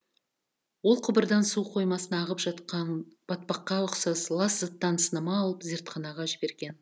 ол құбырдан су қоймасына ағып жатқан батпаққа ұқсас лас заттан сынама алып зертханаға жіберген